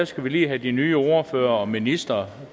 skal vi lige have de nye ordførere og ministeren